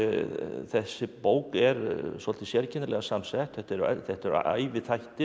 þessi bók er svolítið sérkennilega samsett þetta eru þetta eru